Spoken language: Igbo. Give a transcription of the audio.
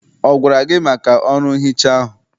Ọ gwara gị maka ọrụ nhicha ahụ?